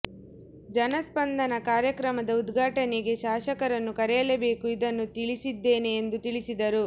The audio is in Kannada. ಜನಸ್ಪಂದನಾ ಕಾರ್ಯಕ್ರಮದ ಉದ್ಘಾಟನೆಗೆ ಶಾಸಕರನ್ನು ಕರೆಯಲೇಬೇಕು ಇದನ್ನು ತಿಳಿಸಿದ್ದೇನೆ ಎಂದು ತಿಳಿಸಿದರು